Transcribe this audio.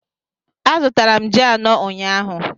Azụtara m ji anọ ụnyahụ